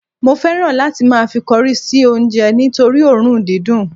mo fẹràn láti ma fi cori se onje nitori orun didun